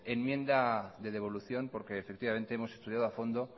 enmienda de devolución porque efectivamente hemos estudiado a fondo